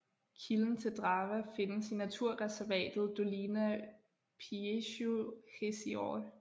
Kilden til Drawa findes i naturreservatet Dolina Pięciu Jezior